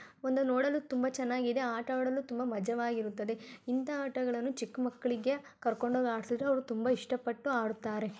ಒಂದು ನೋಡಲು ತುಂಬಾ ಚೆನಾಗಿದೆ ಆಟ ಆಡಲು ತುಂಬಾ ಮಜವಾಗಿರುತ್ತದೆ ಇಂಥ ಆಟಗಳನ್ನು ಚಿಕ್ಮಕ್ಳಿಗೆ ಕರ್ಕೊಂಡ್ ಹೊಗ್ ಆಡ್ಸಿದ್ರೆ ಅವ್ರ್ ತುಂಬಾ ಇಷ್ಟ ಪಟ್ಟು ಆಡುತ್ತಾರೆ .